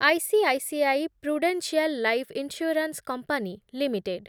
ICICI Prudential life insurance company limited